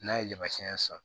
N'a ye yamaru siɲɛ san